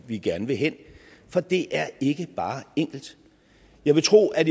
vi gerne vil hen for det er ikke bare enkelt jeg vil tro at